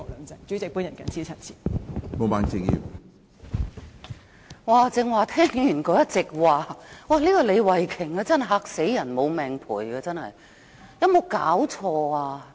主席，剛才聽了李慧琼議員的一席話，她真的"嚇死人無命賠"，有沒有搞錯？